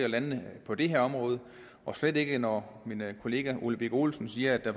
landene på det her område og slet ikke når min kollega herre ole birk olesen siger at der